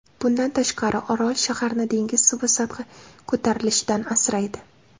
Bundan tashqari, orol shaharni dengiz suvi sathi ko‘tarilishidan asraydi.